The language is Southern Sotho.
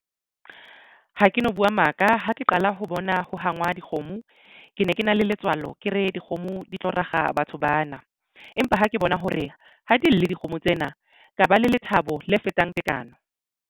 Ha ke no buwa maka ha ke qala ho bona ho hangwa dikgomo ke ne ke na le letswalo ke re dikgomo di tlo rakga batho bana empa ha ke bona hore ha di lle dikgomo tsena ka ba le lethabo le fetang tekano.